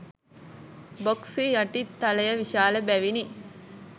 Box හි යටි තලය විශාල බැවිනි.